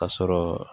Ka sɔrɔ